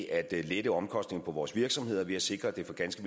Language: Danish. at lette omkostningerne for vores virksomheder ved at sikre at det for ganske